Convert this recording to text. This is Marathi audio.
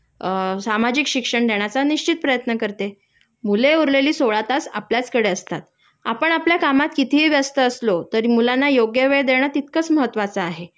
अ सामाजिक शिक्षण देण्याचा निश्चित प्रयत्न करते.मुले उरलेली सोळा तास आपल्याचकडे असतात आपण आपल्या कामात कितीही व्यस्त असलो तरी मुलांना योग्य वेळ देणं तितकाच महत्वाचं आहे